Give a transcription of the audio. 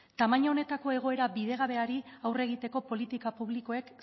tamaina honetako egoera bidegabeari aurre egiteko politika publikoek